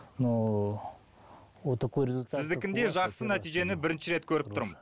но вот такой результат сіздікіндей жақсы нәтижені бірінші рет көріп тұрмын